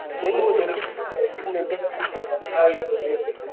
म्हणून बोलतो कि